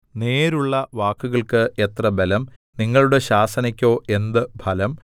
നേരുള്ള വാക്കുകൾക്ക് എത്ര ബലം നിങ്ങളുടെ ശാസനയ്ക്കോ എന്ത് ഫലം